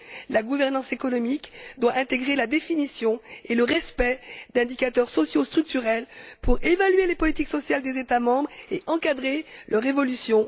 La gouvernance économique doit intégrer la définition et le respect d'indicateurs sociaux structurels pour évaluer les politiques sociales des États membres et encadrer leur évolution.